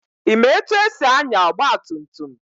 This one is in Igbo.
Ị ma etu esi anya ọgba tum tum?